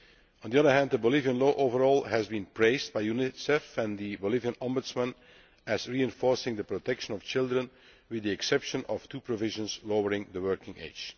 On the other hand, the Bolivian law overall has been praised by UNICEF and by the Bolivian Ombudsman as reinforcing the protection of children, with the exception of two provisions lowering the working age.